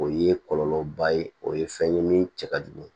O ye kɔlɔlɔba ye o ye fɛn ye min cɛ ka jugu